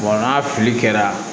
n'a filili kɛra